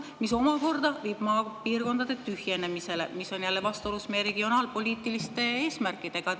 See omakorda viib maapiirkondade tühjenemisele, mis on vastuolus meie regionaalpoliitiliste eesmärkidega.